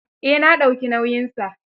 Eh na dauki nauyinsa.